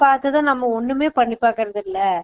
பாத்ததும் நாம ஒன்னுமே பண்ணி பாக்குறது இல்ல